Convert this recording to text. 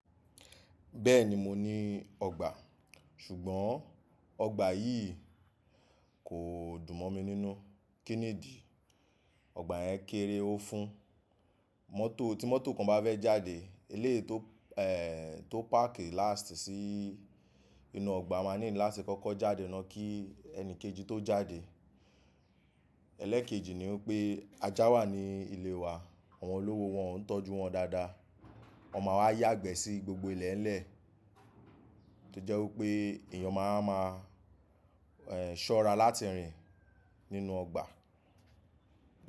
Bẹ́ẹ̀ni mo ní ọgbà, ṣùgbọ́n ọgbà yìí kò dùn mọ mi nínú. Kí nìdí? Ọgbà yẹn kéré ó fún, mọ́tò. Tí mọ́tò kan bá fẹ́ jáde, eleyi tó páàkì lástì sí inú ọgbà máa ní láti kọ́kọ́ jáde, náà kí ẹni kejì tó jáde. Ẹlẹ́ kejì ni wipé ajá wà ní ilé wa, àwọn olówó wọn o ń tọ́jú wọn dáadáa. Wọn máa wá yàgbẹ́ sí gbogbo ilẹ̀lẹ̀. To jẹ́ wípé èèyàn máa wáa ṣọ́ra láti rìn nínú ọgbà.